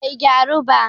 bai gyaru ba